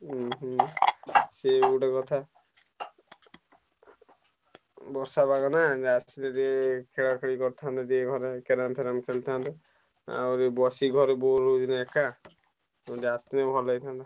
ଉହୁଁ ସିଏ ବି ଗୋଟେ କଥା ବର୍ଷା ପାଗ ନାଁ ରାତିରେ ଟିକେ ଖେଳାଖେଳି କରିଥାନ୍ତେ ଘରେ carrom ଫରୁମ ଖେଳିଥାନ୍ତେ ଆଉ ବି ବଶିକି ଘରେ bore ହଉଛିନା ଏକା ଆସିଥିଲେ ଭଲ ହେଇଥାନ୍ତା।